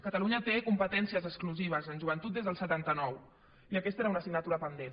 catalunya té competències exclusives en joventut des del setanta nou i aquesta era una assignatura pendent